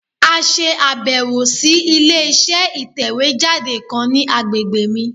À se àbẹ̀wò sí ilé iṣẹ́ ìtẹ̀wé jáde kan ní agbègbè mi